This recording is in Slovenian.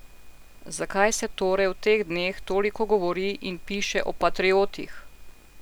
Zakaj se torej v teh dneh toliko govori in piše o patriotih?